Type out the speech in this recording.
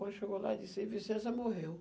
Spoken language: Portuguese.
Quando chegou lá, ele disse, aí Vicência morreu.